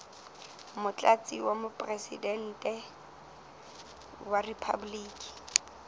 motlatsi wa mopresidente wa riphaboliki